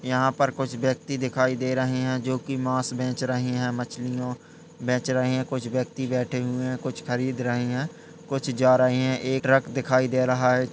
यहाँ पर कुछ व्यक्ति दिखाई दे रहे हैं जो कि मांस बेच रहे हैं। मछलियों बेचे रहे हैं। कुछ व्यक्ति बैठे हुए है। कुछ खरीद रहे हैं। कुछ जा रहे हैं। एक ट्रक दिखाई दे रहा है।